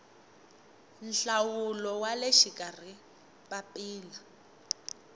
nhlawulo wa le xikarhi papila